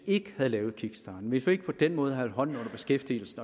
ikke vi havde lavet kickstarten hvis vi ikke på den måde havde holdt hånden under beskæftigelsen